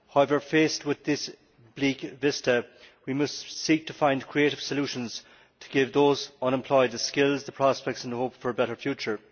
However, faced with this bleak vista, we must seek to find creative solutions to give those unemployed the skills, the prospects and the hope for a better future.